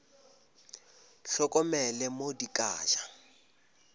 hlokomele mo di ka ja